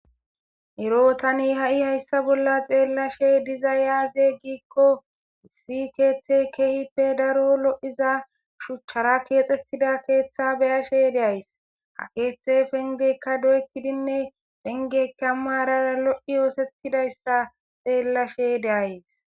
ero tani ha7i hayssa bolla xeellashe diza yaaze giikko si keeththe keehippe daro lo7iza shuchchara keexettida keeththa beyashe deays ha keethe pengekka doyetidinne pengeka maarara lo7i oosettidayssa xeellashe deays